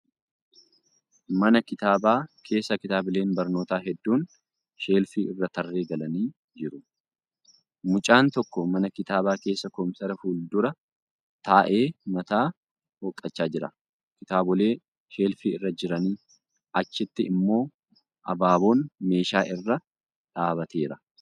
Mana kitaabaa keessa kitaabileen barnootaa hedduun sheelfii irra tarree galanii jiru. Mucaan tokko mana kitaabaa keessa kompiitara fuuldura taa'ee mataa hooqqachaa jira. Kitaabolee sheelfii irra jiranii achitti immoo abaaboon meeshaa irra dhaabbateera.